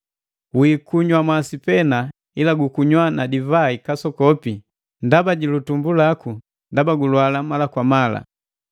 Wiikunywa masi pena, ila gukunywa na divai kasokopi ndaba ji litumbu laku, ndaba gulwala mala kwa mala.